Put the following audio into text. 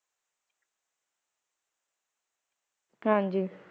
ਹਾਜੀ ਕਹਿੰਦੇ ਆ